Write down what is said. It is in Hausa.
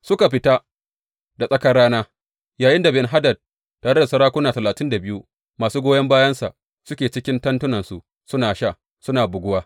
Suka fita da tsakar rana yayinda Ben Hadad tare da sarakuna talatin da biyu masu goyon bayansa suke cikin tentunansu suna sha, suna buguwa.